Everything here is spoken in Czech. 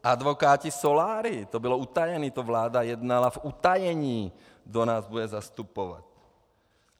Advokáti, soláry - to bylo utajené, to vláda jednala v utajení, kdo nás bude zastupovat.